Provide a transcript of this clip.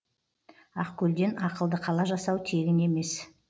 ақкөлден ақылды қала жасау тегін емес